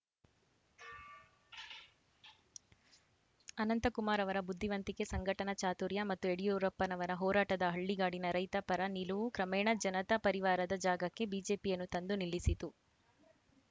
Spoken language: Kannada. ಅನಂತಕುಮಾರ್‌ ಅವರ ಬುದ್ಧಿವಂತಿಕೆ ಸಂಘಟನಾ ಚಾತುರ್ಯ ಮತ್ತು ಯಡಿಯೂರಪ್ಪನವರ ಹೋರಾಟದ ಹಳ್ಳಿಗಾಡಿನ ರೈತ ಪರ ನಿಲುವು ಕ್ರಮೇಣ ಜನತಾ ಪರಿವಾರದ ಜಾಗಕ್ಕೆ ಬಿಜೆಪಿಯನ್ನು ತಂದು ನಿಲ್ಲಿಸಿತು